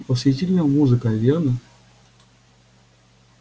восхитительная музыка верно